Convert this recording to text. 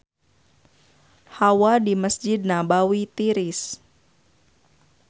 Hawa di Mesjid Nabawi tiris